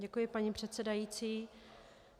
Děkuji, paní předsedající.